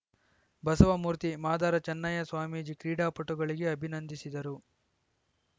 ಬಸವಮೂರ್ತಿ ಮಾದಾರ ಚನ್ನಯ್ಯಸ್ವಾಮೀಜಿ ಕ್ರೀಡಾಪಟುಗಳಿಗೆ ಅಭಿನಂದಿಸಿದರು